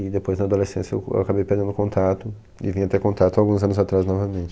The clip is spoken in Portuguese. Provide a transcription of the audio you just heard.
E depois, na adolescência, eu eu acabei perdendo o contato e vim a ter contato alguns anos atrás novamente.